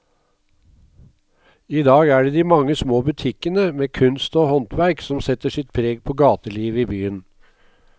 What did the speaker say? I dag er det de mange små butikkene med kunst og håndverk som setter sitt preg på gatelivet i byen.